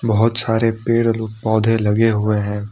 बहोत सारे पेड़ लोग पौधे लगे हुए हैं।